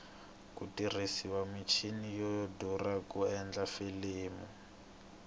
ku tirhisiwa michini yo durha ku endla filimi